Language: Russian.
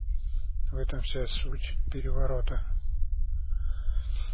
в этом вся суть переворота